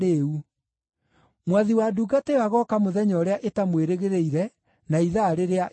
Mwathi wa ndungata ĩyo agooka mũthenya ũrĩa ĩtamwĩrĩgĩrĩire, na ithaa rĩrĩa ĩtooĩ.